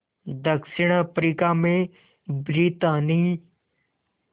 दक्षिण अफ्रीका में ब्रितानी